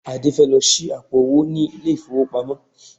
Adé fẹ́ lọ ṣí àpò-owó ní ilé-ìfowópamọ́